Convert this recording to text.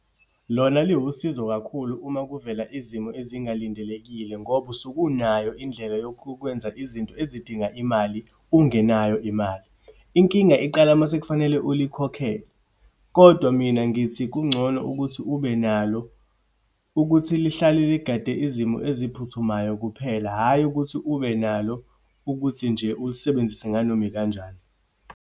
Lona liwusizo kakhulu, uma kuvela izimo ezingalindelekile ngoba usuke unayo indlela yokukwenza izinto ezidinga imali, ungenayo imali. Inkinga iqala uma sekufanele ulikhokhele. Kodwa mina, ngithi kungcono ukuthi ube nalo ukuthi lihlale ligade izimo eziphuthumayo kuphela. Hhayi, ukuthi ube nalo ukuthi nje ulisebenzise nganoma ikanjani.